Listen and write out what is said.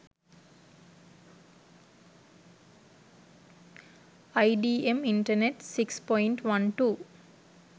idm internet 6.12